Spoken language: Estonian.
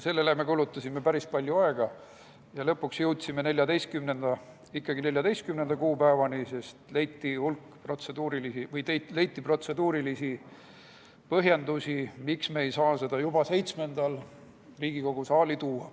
Sellele me kulutasime päris palju aega ja lõpuks jõudsime ikkagi 14. detsembri kuupäevani, sest leiti protseduurilisi põhjendusi, miks me ei saa seda juba 7. detsembril Riigikogu saali tuua.